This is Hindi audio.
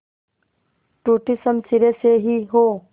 टूटी शमशीरें से ही हो